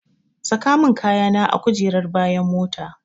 Saka min kayana a kujerar bayan mota.